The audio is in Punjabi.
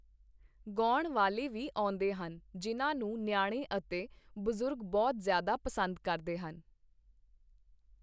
ਗਾਉਣ ਵਾਲੇ ਵੀ ਆਉਂਦੇ ਹਨ, ਜਿਨ੍ਹਾਂ ਨੂੰ ਨਿਆਣੇ ਅਤੇ ਬਜ਼ੁਰਗ ਬਹੁਤ ਜ਼ਿਆਦਾ ਪਸੰਦ ਕਰਦੇ ਹਨ